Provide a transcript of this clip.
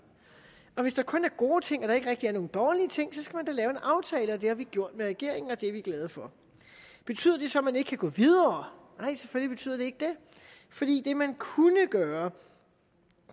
og hvis der kun er gode ting og der ikke rigtig er nogen dårlige ting skal man da lave en aftale og det har vi gjort med regeringen og det er vi glade for betyder det så at man ikke kan gå videre nej selvfølgelig betyder det ikke det fordi det man kunne gøre